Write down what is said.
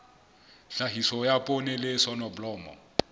tlhahiso ya poone le soneblomo